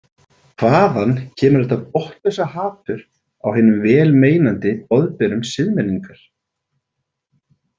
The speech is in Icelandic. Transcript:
Hvaðan kemur þetta botnlausa hatur á hinum vel meinandi boðberum siðmenningar.